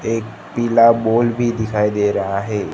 एक पीला बॉल भी दिखाई दे रहा है।